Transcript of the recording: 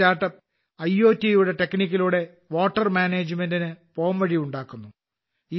ഈ start up അയോട്ട് യുടെ ടെക്നിക്കിലൂടെ വാട്ടർ മാനേജ്മെന്റ് പോംവഴി ഉണ്ടാക്കുന്നു